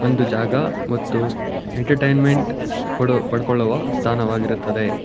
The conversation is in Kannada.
ಒಂದು ಜಾಗ ಮತ್ತು ಎಂಟರ್ಟೈನ್ಮೆಂಟ್ ಪಡೊ ಪಡ್ಕೊಳ್ಳುವ ಸ್ಥಾನವಾಗಿರುತ್ತದೆ